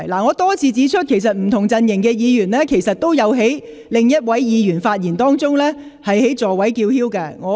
我多次指出，不同陣營的議員均有在另一位議員發言時在座位上叫喊。